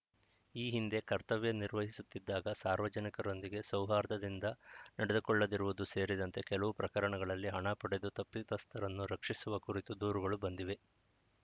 ಈ ಹಿಂದೆ ಕರ್ತವ್ಯ ನಿರ್ವಹಿಸುತ್ತಿದ್ದಾಗ ಸಾರ್ವಜನಿಕರೊಂದಿಗೆ ಸೌಹಾರ್ದದಿಂದ ನಡೆದುಕೊಳ್ಳದಿರುವುದು ಸೇರಿದಂತೆ ಕೆಲವು ಪ್ರಕರಣಗಳಲ್ಲಿ ಹಣ ಪಡೆದು ತಪ್ಪಿತಸ್ಥರನ್ನು ರಕ್ಷಿಸಿರುವ ಕುರಿತು ದೂರುಗಳು ಬಂದಿವೆ